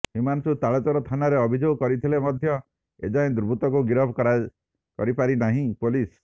ହିମାଂଶୁ ତାଳଚେର ଥାନାରେ ଅଭିଯୋଗ କରିଥିଲେ ମଧ୍ୟ ଏଯାଏ ଦୁର୍ବୃତ୍ତଙ୍କୁ ଗିରଫ କରିପାରିନାହିଁ ପୋଲିସ